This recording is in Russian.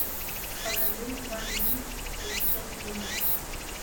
покажи ван пис жестокий мир